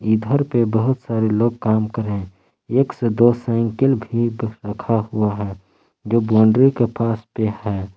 घर पे बहुत सारे लोग काम कर रहे हैं एक से दो साइकिल भी रखा हुआ है जो बाउंड्री के पास पे है।